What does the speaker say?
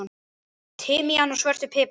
timian og svörtum pipar.